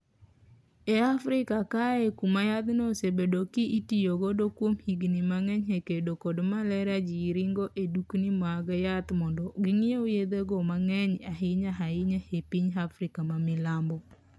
E Africa kaye kuma yathno osebedo ki itiyo godo kuom higni mang'eny e kedo kod maleria ji ringo e dukni mag yath mondo ginyiew yethego mang'eny ahinya ahinya e piny Afrika ma milambo.